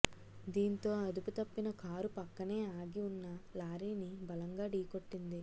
దీంతో అదుపుతప్పిన కారు పక్కనే ఆగి ఉన్న లారీని బలంగా ఢీకొట్టింది